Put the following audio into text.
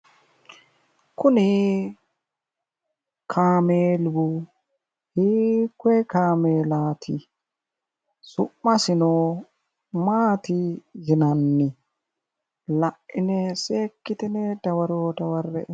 Kuni kaameelu hiikkoye kaameelaati? Su'masino maati yinanni? Laine seekkitine dawaro dawarre''e.